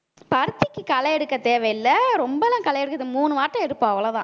பருத்திக்கு களை எடுக்க தேவையில்ல ரொம்பலாம் களை இருக்காது மூணு வாட்டி எடுப்போம்